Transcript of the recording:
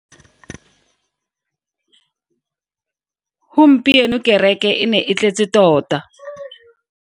Gompieno kereke e ne e tletse tota.